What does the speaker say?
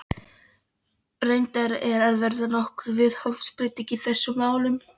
Reyndar er að verða nokkur viðhorfsbreyting í þessum málum.